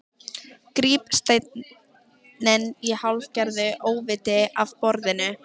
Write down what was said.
Gríp steininn í hálfgerðu óviti af borðinu.